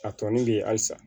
A tɔni bɛ yen halisa